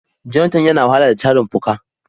Jonathan ya na wahala da tarin fuka.